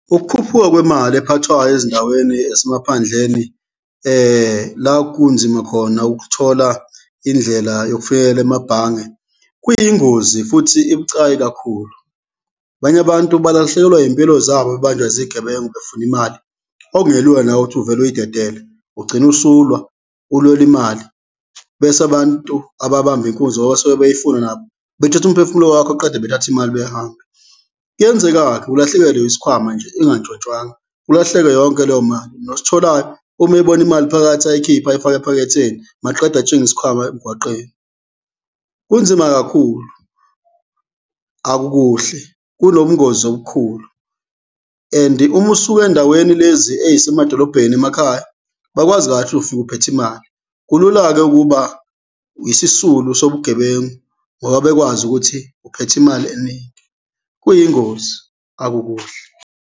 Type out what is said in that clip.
Ukukhuphuka kwemali ephathwayo ezindaweni ezisemaphandleni la kunzima khona ukuthola indlela yokufikela emabhange kuyingozi futhi ibucayi kakhulu. Abanye abantu belahlekelwa iy'mpilo zabo bebanjwa izigebengu befuna imali, okungelula nawe ukuthi uvele uyidedele, ugcine usulwa ulwela imali bese abantu ababamba inkunzi ngoba basuke bey'funa nabo bethathe umphefumulo wakho qeda bethathe imali behambe. Kuyenzeka-ke ulahlekelwe isikhwama nje ingantshontshwanga, ulahlekelwe yonke leyo mali nositholayo uma eyibona imali phakathi ayikhiphe ayifake ephaketheni maqeda atshinge isikhwama emgwaqeni. Kunzima kakhulu, akukuhle, kunobungozi obukhulu and-i uma usuka endaweni lezi ey'semadolobheni emakhaya, bakwazi kahle ufika uphethe imali, kulula-ke ukuba isisulu sobugebengu ngoba bekwazi ukuthi uphethe imali eningi, kuyingozi, akukuhle.